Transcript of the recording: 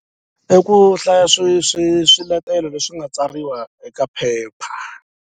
I ku hlaya swi swi swiletelo leswi nga tsariwa eka paper.